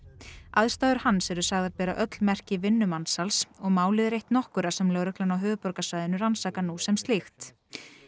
aðstæður hans eru sagðar bera öll merki vinnumansals og málið er eitt nokkurra sem lögreglan á höfuðborgarsvæðinu rannsakar nú sem slíkt